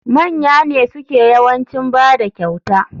Manya ne suke yawancin bada kyauta.